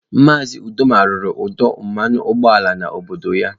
Maazị Uduma rụrụ ọdụ mmanụ ụgbọala n'obodo ya